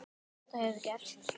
Hefur þetta gerst?